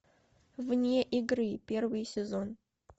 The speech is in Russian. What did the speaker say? вне игры первый сезон